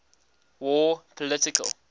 war political